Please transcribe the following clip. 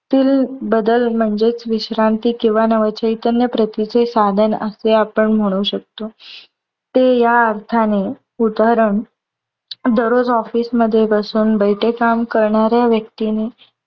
तील बदल म्हणजेच विश्रांती किंवा नवचैतन्य प्रतीचे साधन असे आपण म्हणू शकतो. ते या अर्थाने, उदाहरण दररोज office मध्ये बसून बैठे काम करणाऱ्या व्यक्तीने